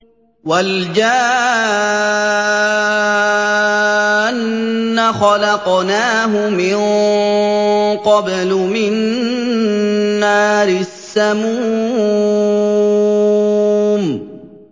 وَالْجَانَّ خَلَقْنَاهُ مِن قَبْلُ مِن نَّارِ السَّمُومِ